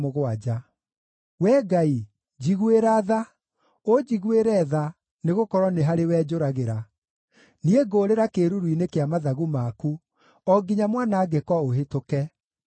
Wee Ngai, njiguĩra tha, ũnjiguĩre tha, nĩgũkorwo nĩ harĩwe njũragĩra. Niĩ ngũũrĩra kĩĩruru-inĩ kĩa mathagu maku, o nginya mwanangĩko ũhĩtũke.